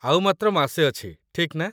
ଆଉ ମାତ୍ର ମାସେ ଅଛି, ଠିକ୍ ନା?